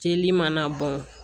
Jeli mana bɔn